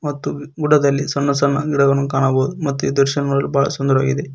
ಮತ್ತು ಗುಡದಲ್ಲಿ ಸಣ್ಣ ಸಣ್ಣ ಗಿಡವನ್ನು ಕಾಣಬಹುದು ಮತ್ತು ಈ ದ್ರಶ್ಯ ನೋಡಲು ಬಹಳ ಸುಂದರವಾಗಿದೆ.